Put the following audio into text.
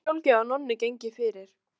Fannst líka sjálfgefið að Nonni gengi fyrir.